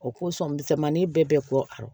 O kosɔn misɛnmani bɛɛ bɛ kɔ